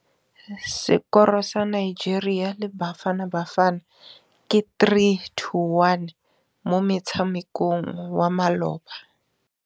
Sekôrô sa Nigeria le Bafanabafana ke 3-1 mo motshamekong wa malôba.